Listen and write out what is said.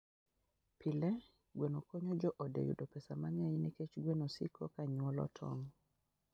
Pile, gweno konyo joode yudo pesa mang'eny nikech gweno siko ka nyuolo tong'.